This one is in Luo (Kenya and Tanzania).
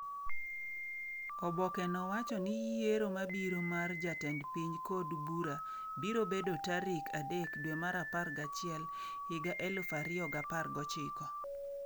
Oboke no wacho ni yiero mabiro mar jatend piny kod bura biro bedo tarik 3/11/2019.